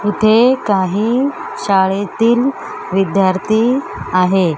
इथे काही शाळेतील विद्यार्थी आहेत.